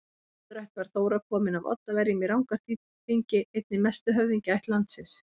Í móðurætt var Þóra komin af Oddaverjum í Rangárþingi, einni mestu höfðingjaætt landsins.